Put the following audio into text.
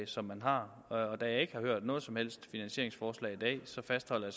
som man har og da jeg ikke har hørt noget som helst finansieringsforslag i dag fastholder